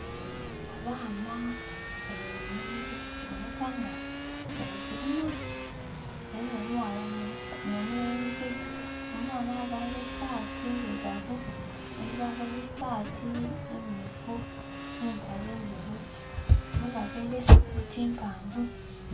Abaana bali mu nhimiro kiboneka nga bali kulima ghaligho omughala no mulenzi, omughala aveire esati ndhirugavu, omulenzi aveire esati mmyufu ne mpale ndheru omughala aveire sikati mpavu